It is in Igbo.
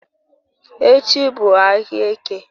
Echi bu ahia Eke